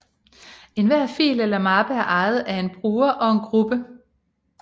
Enhver fil eller mappe er ejet af en bruger og en gruppe